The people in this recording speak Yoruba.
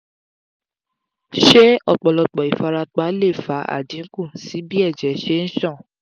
se opolopo ifarapa le fa adinku si bi eje se n san?